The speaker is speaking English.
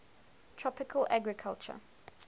tropical agriculture